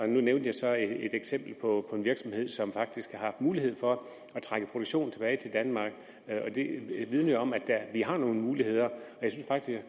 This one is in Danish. nu nævnte jeg så et eksempel på en virksomhed som faktisk har haft mulighed for at trække produktionen tilbage til danmark og det vidner jo om at vi har nogle muligheder